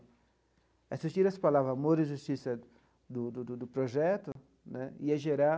Se tira as palavras amor e justiça do do do projeto né, ia gerar